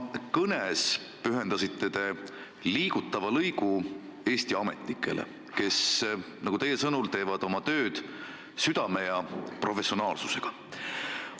Oma kõnes te pühendasite liigutava lõigu Eesti ametnikele, kes teie sõnul teevad oma tööd südamega ja professionaalselt.